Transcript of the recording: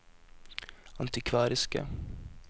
antikvariske